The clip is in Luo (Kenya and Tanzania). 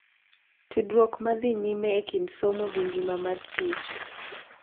Tudruok ma dhi nyime e kind somo gi ngima mar tich.